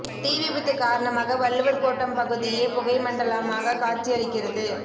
தீ விபத்து காரணமாக வள்ளுவர் கோட்டம் பகுதியே புகைமண்டலமாக காட்சி அளிக்கிறது